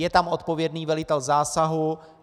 Je tam odpovědný velitel zásahu.